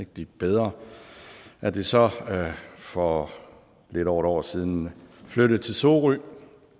blive bedre at det så for lidt over et år siden flyttede til sorø